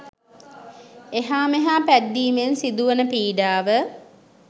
එහා මෙහා පැද්දීමෙන් සිදු වන පීඩාව